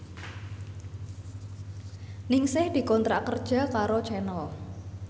Ningsih dikontrak kerja karo Channel